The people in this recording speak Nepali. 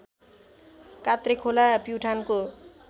कात्रे खोला प्युठानको